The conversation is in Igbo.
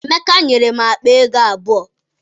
Emeka nyere m akpaego abụọ.